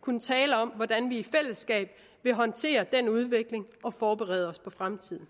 kunne tale om hvordan vi i fællesskab vil håndtere den udvikling og forberede os på fremtiden